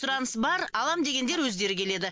сұраныс бар алам дегендер өздері келеді